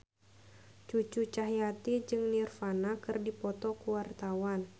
Cucu Cahyati jeung Nirvana keur dipoto ku wartawan